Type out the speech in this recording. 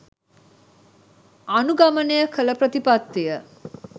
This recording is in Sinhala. අනුගමනය කළ ප්‍රතිපත්තිය